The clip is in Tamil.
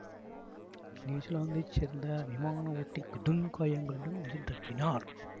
நியூசிலாந்தைச் சேர்ந்த விமான ஓட்டி கடும் காயங்களுடன் உயிர் தப்பினார்